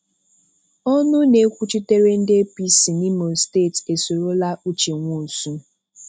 Ọnụ na-ekwuchitere ndị APC n'Imo steeti esorola Uche Nwosu